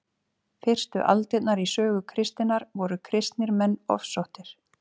fyrstu aldirnar í sögu kristninnar voru kristnir menn ofsóttir